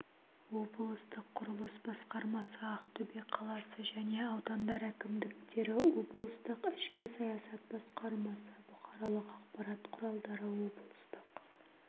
облыстық құрылыс басқармасы ақтөбе қаласы және аудандар әкімдіктері облыстық ішкі саясат басқармасы бұқаралық ақпарат құралдары облыстық